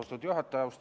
Austatud juhataja!